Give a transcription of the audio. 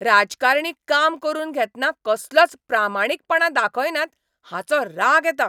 राजकारणी काम करून घेतना कसलोच प्रामाणिकपणां दाखयनात हाचो राग येता.